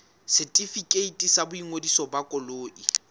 setefikeiti sa boingodiso ba koloi